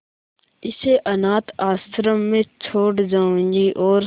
इसे अनाथ आश्रम में छोड़ जाऊंगी और